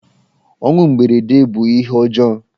Ọnwụ mberede bụ ihe ọjọọ.